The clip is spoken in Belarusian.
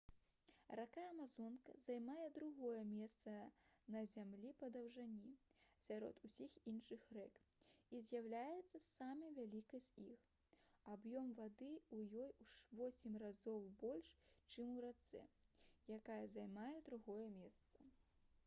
рака амазонка займае другое месца на зямлі па даўжыні сярод усіх іншых рэк і з'яўляецца самай вялікай з іх аб'ём вады ў ёй у 8 разоў больш чым у рацэ якая займае другое месца